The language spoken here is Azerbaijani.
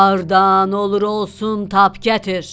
Hardan olur-olsun tap gətir!